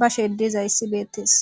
bashe dizayssi beettees